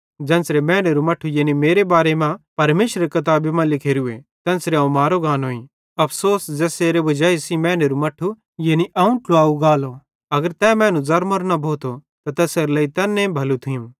ज़ेन्च़रां मैनेरू मट्ठू यानी मेरे बारे मां परमेशरेरी किताबी मां लिखोरूए तेन्च़रां अवं मारो गानोईं अफ़सोस किजोकि तैस मैनू बड़ी सज़ा मैल्लनीए एजने बालीए ज़ेसेरे वजाई सेइं मैनेरू मट्ठू यानी अवं ट्लुवाव गानोईं अगर तै मैनू ज़रमोरो न भोथो त तैसेरे लेई तैन भलू थियूं